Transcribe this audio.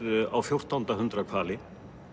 á fjórtánda hundrað hvali